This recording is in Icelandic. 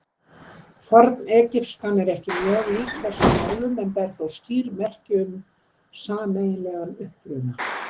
Fornegypskan er ekki mjög lík þessum málum en ber þó skýr merki um sameiginlegan uppruna.